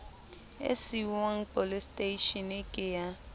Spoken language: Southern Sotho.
e siuwang poleseteishene ke ya